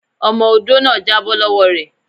Ọmọ odó náà já bọ́ lọ́wọ́ re.